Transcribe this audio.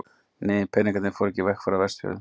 Nei, peningarnir fóru ekki í vegagerð á Vestfjörðum.